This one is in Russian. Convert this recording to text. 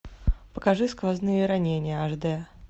покажи сквозные ранения аш д